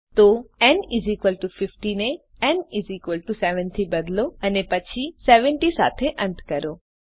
તો ન 50 ને ન 7 થી બદલો અને પછી 70 સાથે અંત કરો